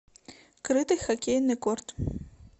крытый хоккейный корт